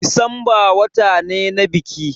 Disamba wata ne na biki